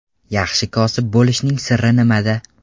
Yaxshi kosib bo‘lishning siri nimada?